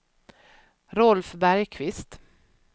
Rolf Bergkvist